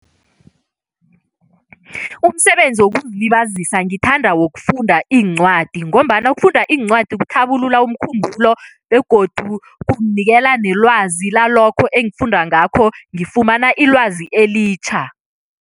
Umsebenzi wokuzilabazisa ngithanda wokufunda iincwadi ngombana ukufunda iincwadi kuthabulula umkhumbulo begodu kunginikela nelwazi lalokho engifunda ngakho, ngifumana ilwazi elitjha.